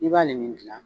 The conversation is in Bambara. I b'ale nin gilan